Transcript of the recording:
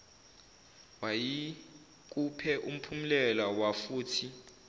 mayikuphe umphumulela wafuthi